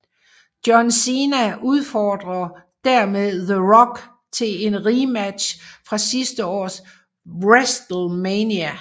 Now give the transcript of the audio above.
John Cena udfordrer dermed The Rock til en rematch fra sidste års WrestleMania